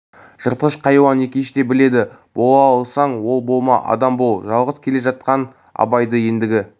жыртқыш қайуан екеш да біледі бола алсаң ол болма адам бол жалғыз келе жатқан абайды ендігі